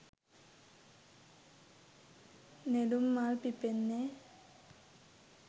නෙළුම් මල් පිපෙන්නේ.